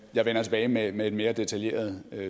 jeg vender tilbage med med et mere detaljeret